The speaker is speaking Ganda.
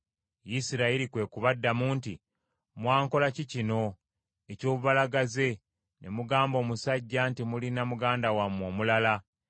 Isirayiri kwe kubaddamu nti, “Mwankola ki kino eky’obubalagaze ne mugamba omusajja nti mulina muganda wammwe omulala.”